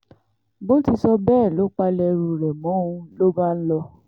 bó ti sọ bẹ́ẹ̀ ló palẹ̀ ẹrù rẹ̀ mọ́ o ló bá ń lọ